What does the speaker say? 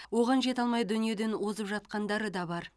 оған жете алмай дүниеден озып жатқандары да бар